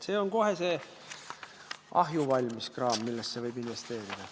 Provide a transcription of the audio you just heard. See on see ahjuvalmis kraam, millesse võib kohe investeerida.